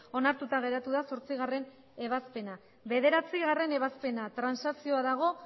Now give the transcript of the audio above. onartura geratu da zortzigarrena ebazpena bederatzigarrena ebazpena transakzioa